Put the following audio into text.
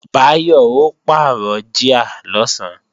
Báyọ̀ ó pàrọ̀ jíà lọ̀sán